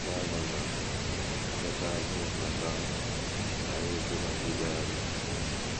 Bible na - ejikọta agụụ mmekọahụ na anyaukwu nakwa ikpere arụsị.